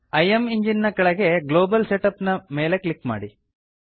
ಇಮೆಂಜಿನ್ ನ ಕೆಳಗೆ global setup ನ ಮೇಲೆ ಕ್ಲಿಕ್ ಮಾಡಿ